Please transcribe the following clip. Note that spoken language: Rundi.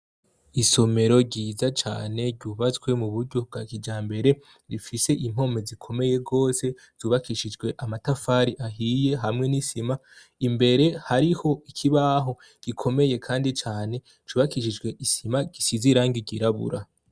Isomero ryiza cane ryubatswe mu buryo bwa kijambere, rifise impome zikomeye rwose, zubakishijwe amatafari ahiye hamwe n'isima, imbere hariho ikibaho gikomeye kandi cane cubakishijwe isima gisize irangi ryirabura.